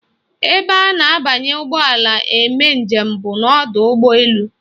Ebe a na-abanye ụgbọala eme njem bụ n'ọdọụgbọelu